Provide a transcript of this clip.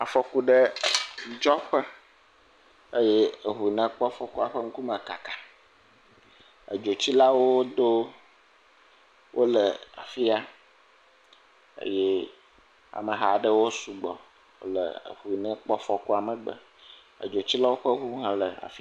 Afɔku ɖe dzɔ ƒe eye eŋu si kpɔ afɔku la ƒe ŋkume kaka, eye edzotsilawo do wole afi sia eye amehawo sugbɔ wole eŋu si kpɔ afɔku la ƒe megbe. Edzotsilawo ƒe ŋu hã le afi y..